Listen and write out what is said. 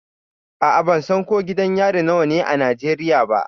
A'a, ban san ko gidan yari nawa ne a Najeriya ba.